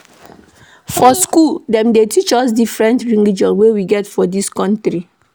For skool, dem dey teach us about different religion wey we get for dis country.